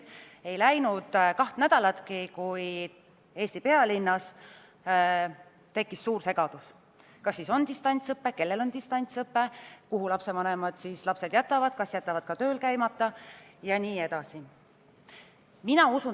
Ei läinud kaht nädalatki, kui Eesti pealinnas tekkis suur segadus selle üle, kas on distantsõpe või ei ole, kellel on distantsõpe, kuhu lapsevanemad lapsed jätavad, kas nad jätavad ka tööl käimata jne.